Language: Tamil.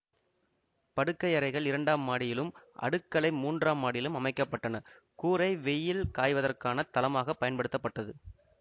படுக்கையறைகள் இரண்டாம் மாடியிலும் அடுக்களை மூன்றாம் மாடியிலும் அமைக்க பட்டன கூரை வெய்யில் காய்வதற்கான தளமாக பயன்படுத்தப்பட்டது